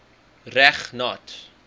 reg nat